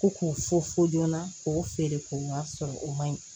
Ko k'u fɔ fo joona k'o feere k'o wari sɔrɔ o man ɲi